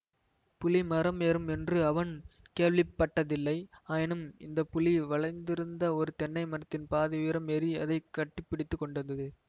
புலி மரம் ஏறும் என்று அவன் கேள்விப்பட்டதில்லை ஆயினும் இந்த புலி வளைந்திருந்த ஒரு தென்னை மரத்தின் பாதி உயரம் ஏறி அதை கட்டி பிடித்து கொண்டது